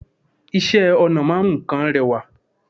Isẹ́ ọnà ma n mu nkan rewa